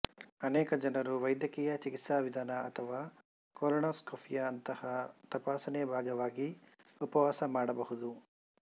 ಅನೇಕ ಜನರು ವೈದ್ಯಕೀಯ ಚಿಕಿತ್ಸಾವಿಧಾನ ಅಥವಾ ಕೋಲನಾಸ್ಕಪಿಯಂತಹ ತಪಾಸಣೆಯ ಭಾಗವಾಗಿ ಉಪವಾಸ ಮಾಡಬಹುದು